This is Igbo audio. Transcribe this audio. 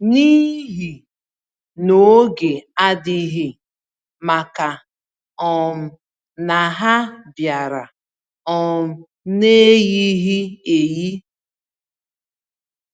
n'ihi n'oge adịghị, màkà um na ha biara um n'eyighi-eyi.